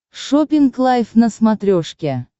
шоппинг лайв на смотрешке